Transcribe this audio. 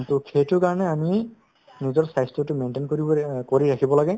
to সেইটোৰ কাৰণে আমি নিজৰ স্বাস্থ্যতো maintain কৰি~ কৰি অ কৰি ৰাখিব লাগে